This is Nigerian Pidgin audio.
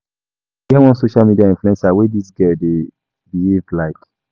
E get one social media influencer wey dis girl dey behave like.